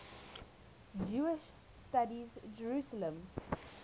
jewish studies jerusalem